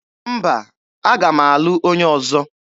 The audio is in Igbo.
Mba, aga m alụ onye ọzọ.